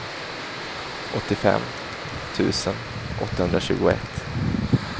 åttiofem tusen åttahundratjugoett